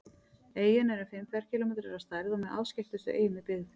Eyjan er um fimm ferkílómetrar að stærð og með afskekktustu eyjum í byggð.